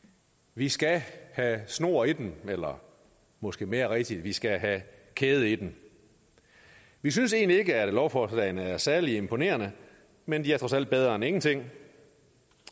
vi skal have snor i dem eller måske mere rigtigt vi skal have kæde i dem vi synes egentlig ikke at lovforslagene er særlig imponerende men de er trods alt bedre end ingenting